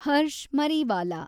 Harsh Mariwala